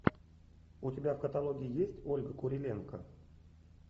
у тебя в каталоге есть ольга куриленко